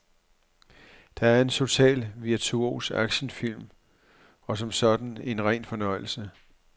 Det er en total virtuos actionfilm og som sådan en ren fornøjelse.